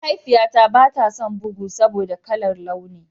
Mahaifiyata ba ta son bugu saboda ba kalar launi.